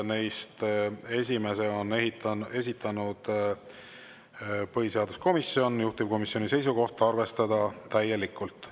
Neist esimese on esitanud põhiseaduskomisjon ja juhtivkomisjoni seisukoht on arvestada seda täielikult.